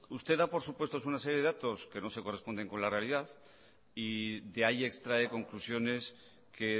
usted da por supuesto una serie de datos que no se corresponden con la realidad y de ahí extrae conclusiones que